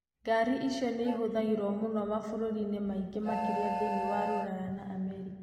Ngari icio nĩ ivũthagĩrũo mũno mavũrũri-inĩ maingĩ, makĩria thĩinĩ wa Rũraya na Amerika.